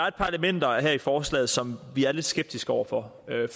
et par elementer her i forslaget som vi er lidt skeptiske over for